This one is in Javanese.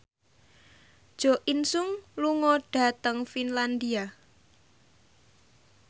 Jo In Sung lunga dhateng Finlandia